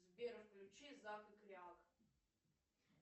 сбер включи зак и кряк